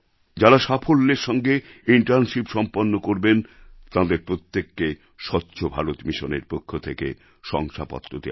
যাঁরা সাফল্যের সঙ্গে ইন্টার্নশিপ সম্পন্ন করবেন তাঁদের প্রত্যেককে স্বচ্ছ ভারত মিশনএর পক্ষ থেকে শংসাপত্র দেওয়া হবে